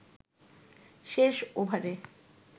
শেষ ওভারে